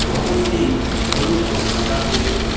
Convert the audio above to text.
ভবনটি হলুদ ও সাদা রঙের।